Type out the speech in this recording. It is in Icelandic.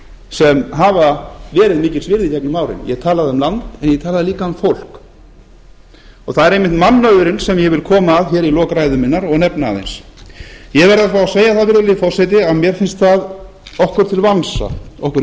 sem hafa verið mikils virði gegnum árin ég talaði um land en ég talaði líka um fólk það er einmitt mannauðurinn sem ég vil koma að hér í lok ræðu minnar og nefna aðeins ég verð að fá að segja virðulegi forseti að mér finnst okkur